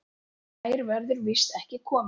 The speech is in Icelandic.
Nær verður víst ekki komist.